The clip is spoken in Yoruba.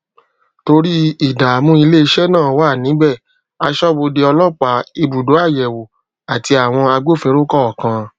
torí ìdààmú ilé iṣẹ náà wà níbẹ aṣọbodè ọlópàá ibùdó àyèwò ati awọn agbófinró kọọkan